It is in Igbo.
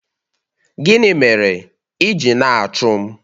Gịnị mere ị ji na-achụ m?